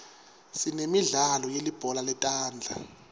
sinemidlalo yelibhola letandla